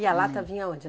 E a lata vinha aonde?